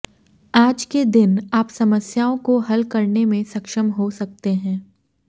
आज के दिन आप समस्याओं को हल करने में सक्षम हों सकते है